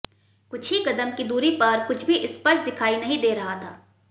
कुछ ही कदम की दूरी पर कुछ भी स्पष्ट दिखाई नहीं दे रहा था